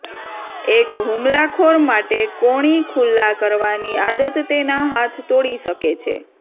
એક હુમલાખોર માટે કોણી ખુલ્લા કરવાની આદત તેના હાથ તોડી શકે છે